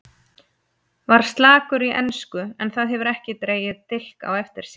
Var slakur í ensku en það hefur ekki dregið dilk á eftir sér.